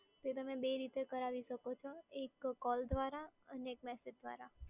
એ તમે બે રીતે કરાવી શકો છો એક કોલ દ્વારા અને મેસેજ દ્વારા